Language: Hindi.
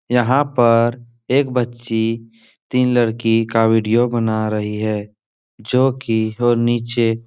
यहाँ पर एक बच्ची तीन लड़की का विडियो बना रही है जो कि वो नीचे --